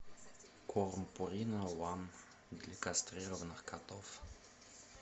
корм пурина ван для кастрированных котов